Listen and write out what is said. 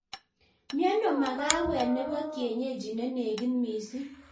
Mieno magawet nebo kienyeji nenegit mising